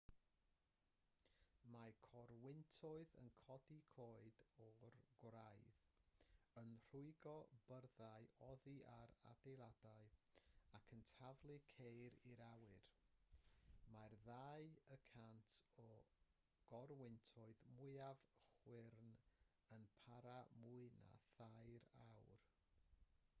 mae corwyntoedd yn codi coed o'r gwraidd yn rhwygo byrddau oddi ar adeiladau ac yn taflu ceir i'r awyr mae'r ddau y cant o gorwyntoedd mwyaf chwyrn yn para mwy na thair awr